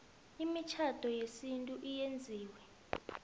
imitjhado yesintu eyenziwe